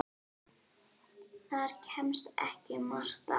Þar kemst ekki margt að.